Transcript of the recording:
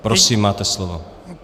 Prosím, máte slovo.